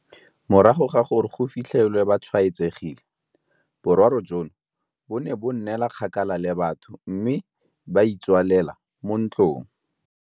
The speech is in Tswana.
Morago ga gore go fi tlhelwe ba tshwaetsegile, boraro jono bo ne ba nnela kgakala le batho mme ba itswalela mo ntlong.